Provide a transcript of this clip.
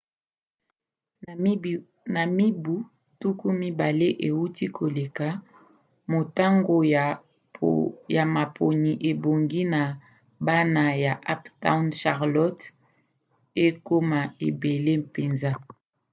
na mibu 20 euti koleka motango ya maponi ebongi na bana na uptown charlotte ekoma ebele mpenza